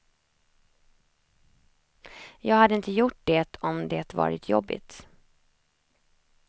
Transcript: Jag hade inte gjort det om det varit jobbigt.